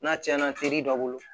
N'a tiɲɛna teri dɔ bolo